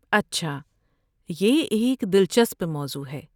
اچھا۔ یہ ایک دلچسپ موضوع ہے۔